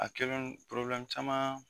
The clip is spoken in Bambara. A kelen caman